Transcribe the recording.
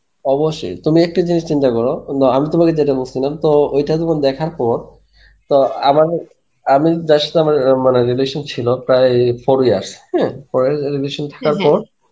অবশ্যই তুমি একটা জিনিস চিন্তা করো, না আমি তোমাকে যেটা বলেছিলাম তো এইটা তোমার দেখার পর তো আবার আমি যার সাথে আমার এরম মানে relation ছিলো প্রায় four years হ্যাঁ, four year relation থাকার পর